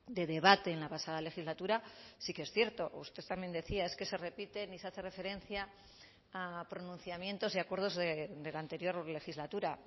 de debate en la pasada legislatura sí que es cierto usted también decía es que se repiten y se hace referencia a pronunciamientos y acuerdos de la anterior legislatura